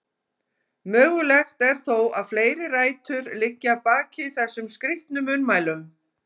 Mögulegt er þó að fleiri rætur liggi að baki þessum skrítnu munnmælum.